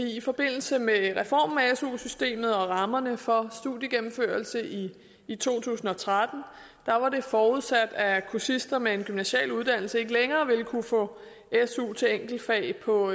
i forbindelse med reformen af su systemet og rammerne for studiegennemførelse i to tusind og tretten var det forudsat at kursister med en gymnasial uddannelse ikke længere vil kunne få su til enkeltfag på